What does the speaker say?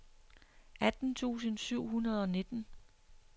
atten tusind syv hundrede og nitten